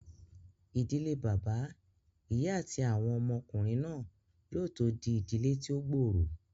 Ìdílé bàbá, ìyá àti àwọn ọmọ ọkùnrin náà yóò tó di ìdílé tí ó gbòòrò